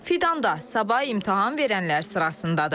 Fidan da sabah imtahan verənlər sırasındadır.